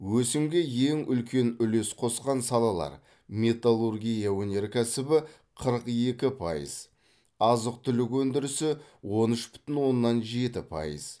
өсімге ең үлкен үлес қосқан салалар металлургия өнеркәсібі қырық екі пайыз азық түлік өндірісі он үш бүтін оннан жеті пайыз